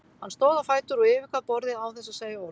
Hann stóð á fætur og yfirgaf borðið án þess að segja orð.